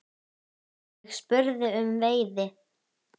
Ég spurði um veiði.